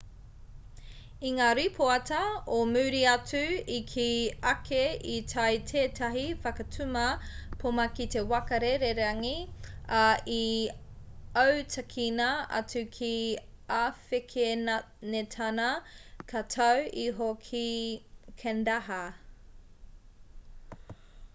i ngā ripoata o muri atu i kī ake i tae tētahi whakatuma poma ki te waka rererangi ā i autakina atu ki āwhekenetāna ka tau iho ki kandahar